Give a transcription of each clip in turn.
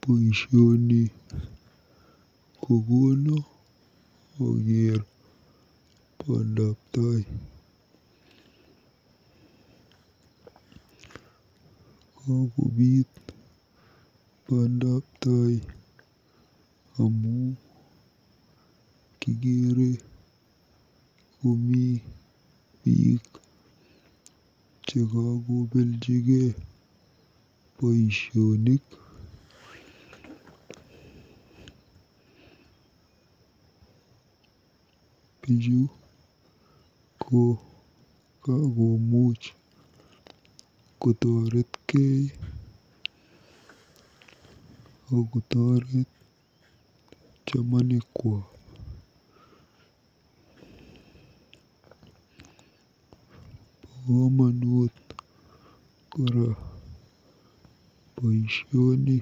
Boisioni kokono akeer bandabtai. KOkobiit bandabtai amu kikeere komi biik chekakobeljigei boisionik. Bichu ko kakomuuch kotoretkei akotoret chamanikwa. Bo komonut kora boisioni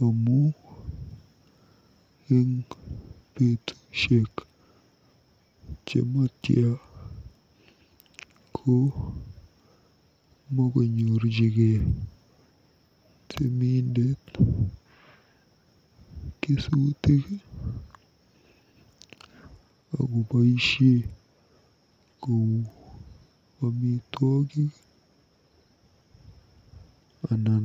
amu eng betusiek chematya ko makonyorjigei temindet kesutik akoboisie kou amitwogik anan